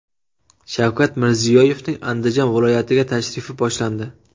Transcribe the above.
Shavkat Mirziyoyevning Andijon viloyatiga tashrifi boshlandi .